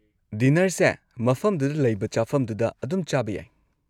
ꯗꯤꯅꯔꯁꯦ ꯃꯐꯝꯗꯨꯗ ꯂꯩꯕ ꯆꯥꯐꯝꯗꯨꯗ ꯑꯗꯨꯝ ꯆꯥꯕ ꯌꯥꯏ꯫